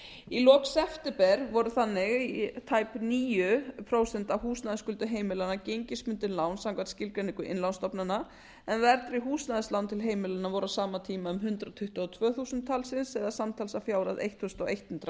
í lok september voru þannig tæp níu prósent af húsnæðisskuldum heimilanna gengistryggð lán samkvæmt skuldbindingu innlánsstofnana en verðtryggð húsnæðislán til heimilanna voru á sama tíma um hundrað tuttugu og tvö þúsund talsins eða samtals að fjárhæð ellefu hundruð milljarðar króna þarna erum